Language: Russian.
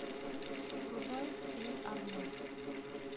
врубай эй арнольд